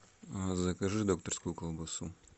закажи докторскую колбасу